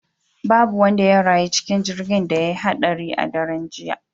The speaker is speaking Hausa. Babu wanda ya rayu cikin jirgin da ya haɗari a daren jiya